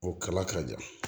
O kala ka jan